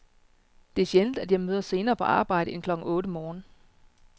Det er sjældent, at jeg møder senere på arbejde end klokken otte morgen.